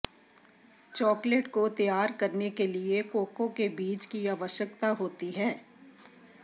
chocolate को तैयार करने के लिए कोको के बीज की आवश्यकता होती है